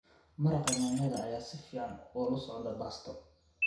Maraqa yaanyada ayaa si fiican ula socda baasto.